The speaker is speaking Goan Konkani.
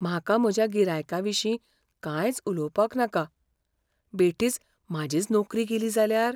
म्हाका म्हज्या गिरायकाविशीं कांयच उलोवपाक नाका, बेठीच म्हाजीच नोकरी गेली जाल्यार?